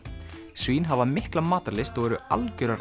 svín hafa mikla matarlyst og eru algjörar